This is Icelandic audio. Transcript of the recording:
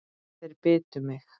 Þeir bitu mig.